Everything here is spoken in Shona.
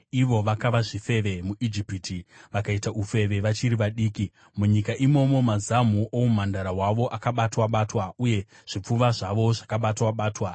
Vakava zvifeve muIjipiti, vakaita ufeve vachiri vadiki. Munyika imomo, mazamu oumhandara hwavo akabatwa-batwa uye zvipfuva zvavo zvakabatwa-batwa.